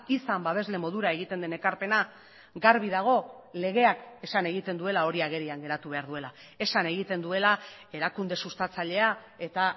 izan babesle modura egiten den ekarpena garbi dago legeak esan egiten duela hori agerian geratu behar duela esan egiten duela erakunde sustatzailea eta